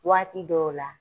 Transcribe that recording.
Waati dɔw la